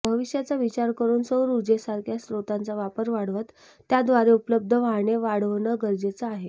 भविष्याचा विचार करून सौर उर्जेसारख्या स्त्रोतांचा वापर वाढवत त्याद्वारे उपलब्ध वाहने वाढवणं गरजेचं आहे